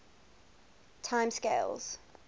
time scales